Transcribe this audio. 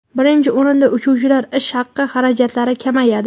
Birinchi o‘rinda uchuvchilar ish haqi xarajatlari kamayadi.